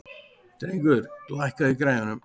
Drengur, lækkaðu í græjunum.